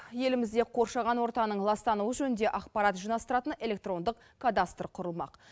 елімізде қоршаған ортаның ластануы жөнінде ақпарат жинастыратын электрондық кадастр құрылмақ